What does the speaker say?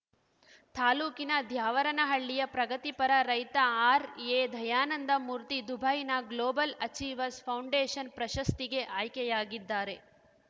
ತಾಲೂಕಿನ ದ್ಯಾವರನಹಳ್ಳಿಯ ಪ್ರಗತಿಪರ ರೈತ ಆರ್‌ಎದಯಾನಂದಮೂರ್ತಿ ದುಬೈನ ಗ್ಲೋಬಲ್‌ ಅಚೀವರ್ಸ್ ಫೌಂಡೇಷನ್‌ ಪ್ರಶಸ್ತಿಗೆ ಆಯ್ಕೆಯಾಗಿದ್ದಾರೆ